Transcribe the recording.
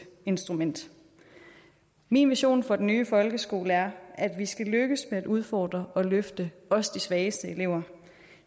instrument min vision for den nye folkeskole er at vi skal lykkes med at udfordre og løfte også de svageste elever